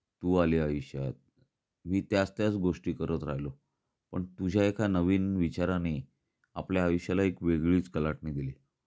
तू आली आयुष्यात. मी त्याच त्याच गोष्टी करत राहिलो. पण तुझ्या एका नवीन विचाराने आपल्या आयुष्याला एक वेगळीच कलाटणी दिली.